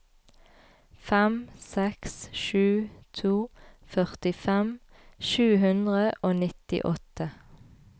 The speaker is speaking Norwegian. fem seks sju to førtifem sju hundre og nittiåtte